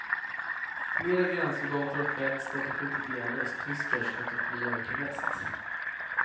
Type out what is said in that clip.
Flera gränssoldater har fällts för att de skjutit ihjäl östtyskar som försökte fly över till väst.